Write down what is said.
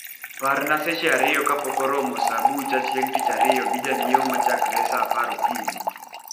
parna seke ariyo ka pok oromo saa bucha chieng tich ariyo gi janyieo machakore saa apar okinyi